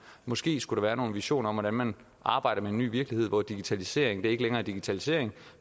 måske skulle der være nogle visioner om hvordan man arbejder med en ny virkelighed hvor digitalisering ikke længere er digitalisering